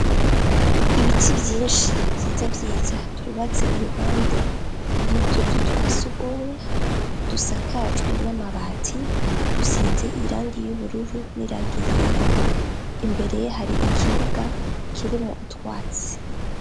Ibiti byinshi vyiza vyiza vyubatse iruhande y'utuzu twasugumwe dusakajwe n'amabati dusize irangi y'ubururu n'irangi yera imbere yaho hari ikibuga kirimwo utwatsi.